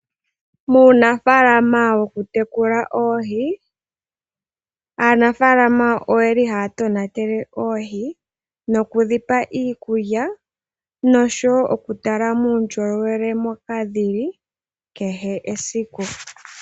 Muunafaalama wokutekula oohi, aanafaala ohaya tonatele oohi nokudhipa iikulya nosho wo okutala muundjolowele moka dhi li kehe esiku.